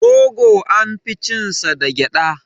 Rogo an fi cin sa da gyaɗa.